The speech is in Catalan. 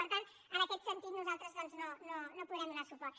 per tant en aquest sentit nosaltres doncs no hi podrem donar suport